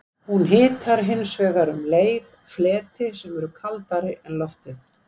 Hún hitar hins vegar um leið fleti sem eru kaldari en loftið.